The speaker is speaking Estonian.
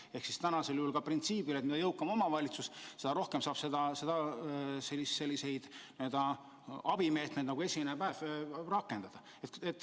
See käib praegusel juhul printsiibil, et mida jõukam omavalitsus, seda rohkem ta saab selliseid n-ö abimeetmeid nagu esimese haiguspäeva hüvitamine rakendada.